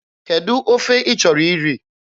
Kedụ ofe ị chọrọ iri?